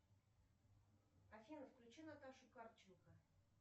афина включи наташу карченко